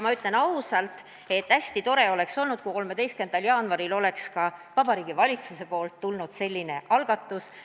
Ma ütlen ausalt, et hästi tore oleks olnud, kui 13. jaanuaril oleks ka Vabariigi Valitsuse poolt tulnud selline algatus.